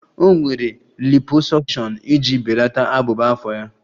O nwere liposuction iji belata abụba afọ ya